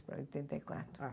Oitenta e quatro. Ah